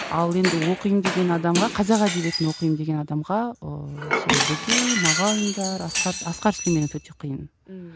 ал енді оқимын деген адамға қазақ әдебиетін оқимын деген адамға ыыы сол бөкей мағауиндер асқар асқар сүлейменов өте қиын ммм